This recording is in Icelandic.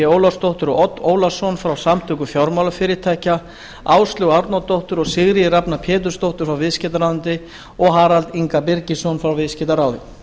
ólafsdóttur og odd ólason frá samtökum fjármálafyrirtækja áslaugu árnadóttur og sigríði rafnar pétursdóttur frá viðskiptaráðuneyti og harald inga birgisson frá viðskiptaráði